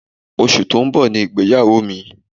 Oṣù tó ń bọ̀ ni ìgbéyàwó mi.